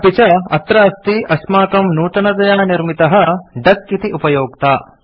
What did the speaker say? अपि च अत्र अस्ति अस्माकं नूतनतया निर्मितः डक इति उपयोक्ता